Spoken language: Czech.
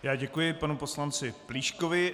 Já děkuji panu poslanci Plíškovi.